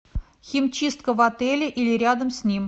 химчистка в отеле или рядом с ним